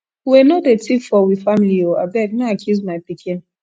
wey no dey tif for we family o abeg no accuse my pikin